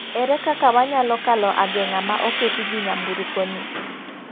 Ere kaka wanyalo kalo agenga ma oketi gi nyamburko ni?